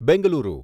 Bengaluru